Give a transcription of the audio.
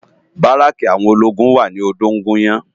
Báráki áwòn ólógún wá ni Odogunyan